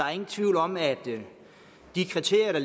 er ingen tvivl om at de kriterier